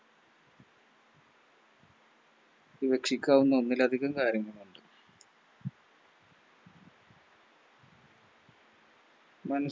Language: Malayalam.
സൂക്ഷിക്കാവുന്ന ഒന്നിലധികം കാര്യങ്ങളുണ്ട് നമു